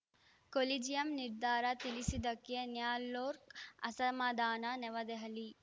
collegium ನಿರ್ಧಾರ ತಿಳಿಸದ್ದಕ್ಕೆ ನ್ಯಾಲೋರ್ಕ್ ಅಸಮಾಧಾನ ನವದೆಹಲಿ